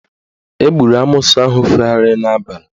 Egburu amoosu ahụ fegharịrị n'abalị